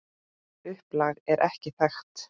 Upplag er ekki þekkt.